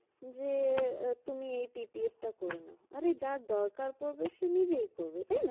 যে তুমি এই PPF টা করে নাও আরে যার দরকার পড়বে সে নিজেই করবে তাই না?